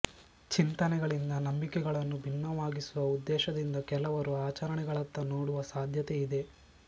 ಚಿಂತನೆಗಳಿಂದ ನಂಬಿಕೆಗಳನ್ನು ಭಿನ್ನವಾಗಿಸುವ ಉದ್ದೇಶದಿಂದ ಕೆಲವರು ಆಚರಣೆಗಳತ್ತ ನೋಡುವ ಸಾಧ್ಯತೆ ಇದೆ